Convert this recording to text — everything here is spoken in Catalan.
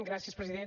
gràcies president